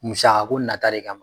Musaka ko nata de kama